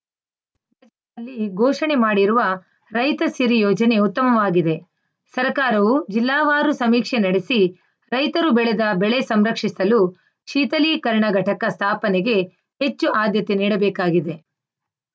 ಬಜೆಟ್‌ನಲ್ಲಿ ಘೋಷಣೆ ಮಾಡಿರುವ ರೈತ ಸಿರಿ ಯೋಜನೆ ಉತ್ತಮವಾಗಿದೆ ಸರ್ಕಾರವು ಜಿಲ್ಲಾವಾರು ಸಮೀಕ್ಷೆ ನಡೆಸಿ ರೈತರು ಬೆಳೆದ ಬೆಳೆ ಸಂರಕ್ಷಿಸಲು ಶೀಥಲೀಕರಣ ಘಟಕ ಸ್ಥಾಪನೆಗೆ ಹೆಚ್ಚು ಆದ್ಯತೆ ನೀಡಬೇಕಾಗಿದೆ